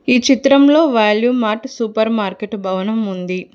ఈ చిత్రంలో Value Mart supermarket భవనం ఉంది.